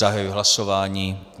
Zahajuji hlasování.